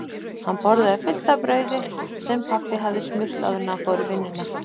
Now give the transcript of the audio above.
Hann borðaði fullt af brauði sem pabbi hafði smurt áður en hann fór í vinnuna.